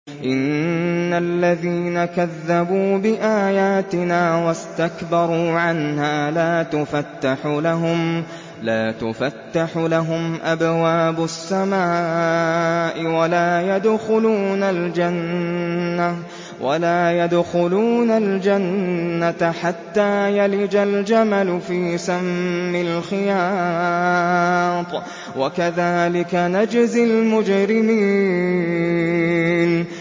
إِنَّ الَّذِينَ كَذَّبُوا بِآيَاتِنَا وَاسْتَكْبَرُوا عَنْهَا لَا تُفَتَّحُ لَهُمْ أَبْوَابُ السَّمَاءِ وَلَا يَدْخُلُونَ الْجَنَّةَ حَتَّىٰ يَلِجَ الْجَمَلُ فِي سَمِّ الْخِيَاطِ ۚ وَكَذَٰلِكَ نَجْزِي الْمُجْرِمِينَ